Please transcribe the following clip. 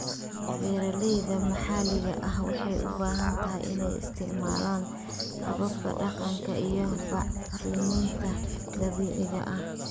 Beeralayda maxalliga ah waxay u badan tahay inay isticmaalaan hababka dhaqanka iyo bacriminta dabiiciga ah.